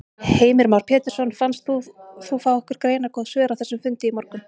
Heimir Már Pétursson: Fannst þér þú fá einhver greinargóð svör á þessum fundi í morgun?